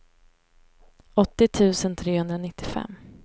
åttio tusen trehundranittiofem